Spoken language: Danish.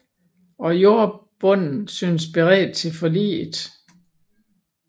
Og jordbunden syntes beredt til forliget